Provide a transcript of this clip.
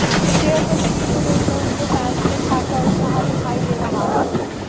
share तस्वीर को देखकर उनके फैंस में खासा उत्साह दिखाई दे रहा है